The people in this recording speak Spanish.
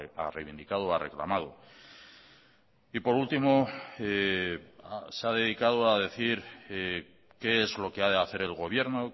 ha reivindicado o ha reclamado y por último se ha dedicado a decir qué es lo que ha de hacer el gobierno